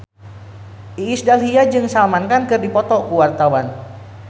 Iis Dahlia jeung Salman Khan keur dipoto ku wartawan